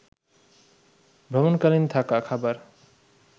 ভ্রমণকালীন থাকা, খাবার